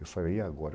Eu falei, e agora?